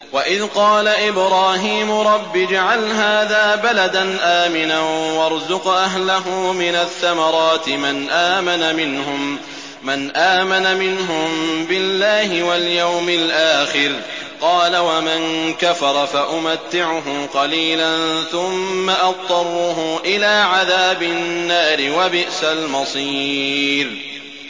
وَإِذْ قَالَ إِبْرَاهِيمُ رَبِّ اجْعَلْ هَٰذَا بَلَدًا آمِنًا وَارْزُقْ أَهْلَهُ مِنَ الثَّمَرَاتِ مَنْ آمَنَ مِنْهُم بِاللَّهِ وَالْيَوْمِ الْآخِرِ ۖ قَالَ وَمَن كَفَرَ فَأُمَتِّعُهُ قَلِيلًا ثُمَّ أَضْطَرُّهُ إِلَىٰ عَذَابِ النَّارِ ۖ وَبِئْسَ الْمَصِيرُ